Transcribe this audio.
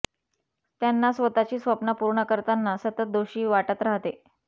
त्यांना स्वतःची स्वप्न पूर्ण करताना सतत दोषी वाटत राहते